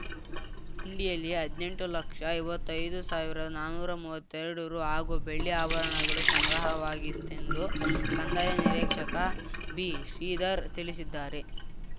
ಹುಂಡಿಯಲ್ಲಿ ಹದ್ನೆಂಟು ಲಕ್ಷಐವತ್ತೈದು ಸಾವಿರದನಾನೂರು ಮೂವತ್ತೆರಡು ರು ಹಾಗೂ ಬೆಳ್ಳಿ ಆಭರಣಗಳು ಸಂಗ್ರಹವಾಗಿತ್ತೆಂದು ಕಂದಾಯ ನಿರೀಕ್ಷಕ ಬಿ ಶ್ರೀಧರ್ ತಿಳಿಸಿದ್ದಾರೆ